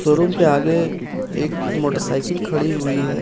Room के आगे एक मोटरसाइकिल खड़ी हुई है।